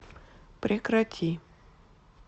прекрати